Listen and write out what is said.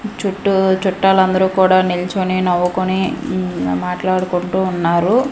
చుట్టూ చుట్టాలందరూ కూడా నిల్చొని నవ్వుకొని మాట్లాడుకుంటూ ఉన్నారు.